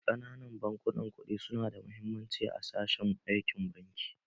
Ƙananan bankunan kuɗi su na da muhimmanci a sashen aikin banki